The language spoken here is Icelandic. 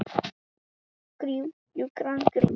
Jú, hverjar finnst þér horfurnar vera?